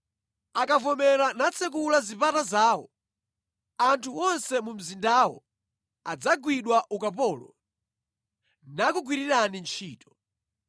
Akavomera natsekula zipata zawo, anthu wonse mu mzindawo adzagwidwa ukapolo nakugwirirani ntchito.